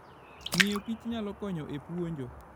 Ng'iyokich nyalo konyo e puonjo.